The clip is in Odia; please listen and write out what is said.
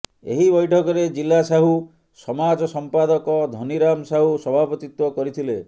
ଏହି ବୈଠକ ରେ ଜିଲ୍ଲା ସାହୁ ସମାଜ ସମ୍ପାଦକ ଧନୀରାମ ସାହୁ ସଭାପତିତ୍ୱ କରିଥିଲେ